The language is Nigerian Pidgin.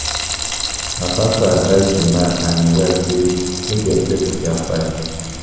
Na pastor advise di man and im wife sey make dem settle their fight.